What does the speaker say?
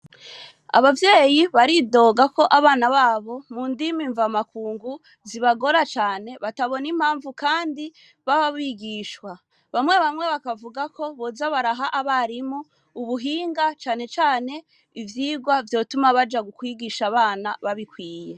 Abavyeyi baridoga ko abana babo mu ndimi mva makungu zibagora cane batabona impamvu kandi bababigishwa bamwe bamwe bakavuga ko buzabaraha abarimu ubuhinga canecane ivyirwa vyotuma baja gukwigisha abana babikwiye.